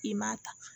I m'a ta